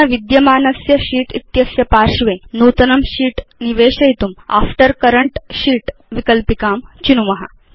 अधुना विद्यमानस्य शीत् इत्यस्य पार्श्वे नूतनं शीत् निवेशयितुं आफ्टर् करेंट शीत् विकल्पिकां चिनुम